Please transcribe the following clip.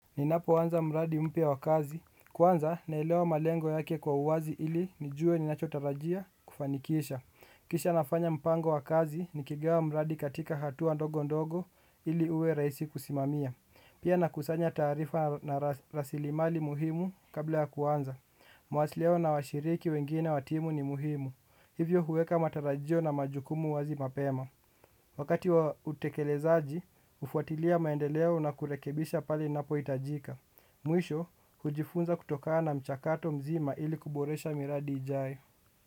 Ninapoanza mradi mpya wa kazi, kwanza naelewa malengo yake kwa uwazi ili nijue ninachotarajia kufanikisha. Kisha nafanya mpango wa kazi, nikigawa mradi katika hatua ndogo ndogo ili uwe rahisi kusimamia. Pia nakusanya taarifa na rasilimali muhimu kabla ya kuanza. Mawasiliano na washiriki wengine wa timu ni muhimu. Hivyo huweka matarajio na majukumu wazi mapema. Wakati wa utekelezaji, hufuatilia maendeleo na kurekebisha pale ninapo hitajika. Mwisho, hujifunza kutokaa na mchakato mzima ili kuboresha miradi ijai.